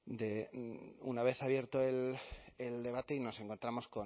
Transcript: una vez abierto el debate y nos encontramos